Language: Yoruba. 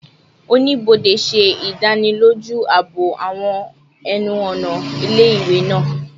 Onibode ṣe idaniloju aabo awọn ẹnu-ọna ile-iwe naa